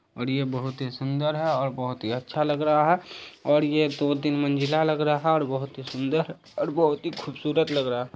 और ये बहुत ही सुंदर है और बहुत ही अच्छा लग रहा है और ये दो तीन मंजिला लग रहा है और बहुत ही सुंदर और बहुत ही खूबसूरत लग रहा है।